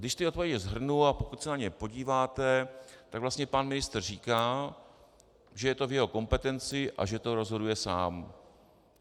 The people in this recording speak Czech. Když ty odpovědi shrnu, a pokud se na ně podíváte, tak vlastně pan ministr říká, že je to v jeho kompetenci a že to rozhoduje sám.